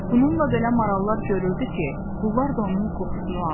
Bununla belə marallar görürdü ki, bunlar da onun qoxusunu alır.